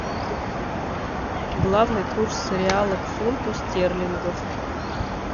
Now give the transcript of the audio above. главный курс реала к фунту стерлингов